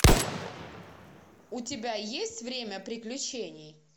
у тебя есть время приключений